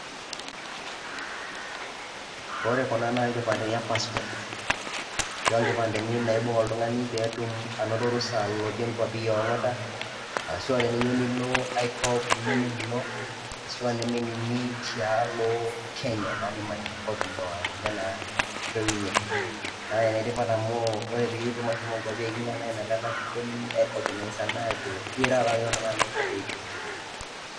Ore kuna naa inkipandeni e passport ashu inkipandeni naibung' oltung'ani pee etum orusa alotie inkuapi e oang'ata arashu teniyeu nilo ai kop nemenino ashu eneme ninyi tialo Kenya naa nimanya enkop naa ninye naa kitoiwunyeki. Naa enetipat amu ore piitum ashomo nkuapi e iking'a naa inakata kitumi airecognize anaa ajo ira taa nye oltung'ani lenkop oiking'a.